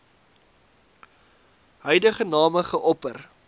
huidige name geopper